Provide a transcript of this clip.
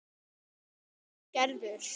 Þín Gerður.